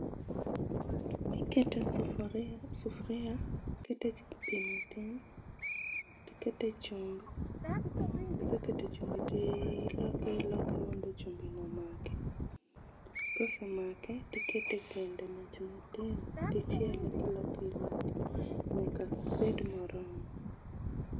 ikete sufuria kiseketo pi matin tikete chumbi kisekete chumbi ti loke iloke mondo chumbi no omake, kose make tikete kendo e mach matin ti chiele kiloke iloke nyaka obed moromo.